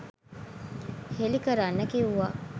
හෙළි කරන්න කිව්වා.